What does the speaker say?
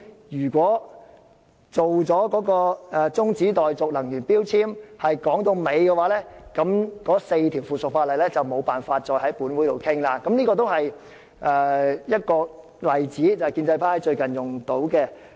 如果有關《能源效益條例》的中止待續議案能夠討論至會議結束，該4項附屬法例便無法再在本會討論，這是建制派最近"拉布"的例子。